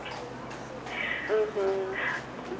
উম্হু